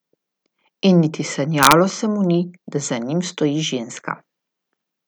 In niti sanjalo se mu ni, da za njim stoji ženska.